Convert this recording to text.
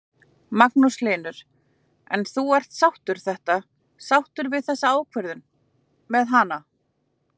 Magnús Hlynur: En þú ert sáttur þetta, sáttur við þessa ákvörðun með hanana?